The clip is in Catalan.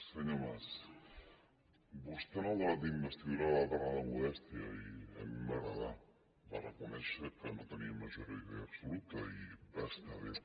senyor mas vostè en el debat d’investidura va parlar de modèstia i a mi em va agradar va reconèixer que no tenia majoria absoluta i va estar bé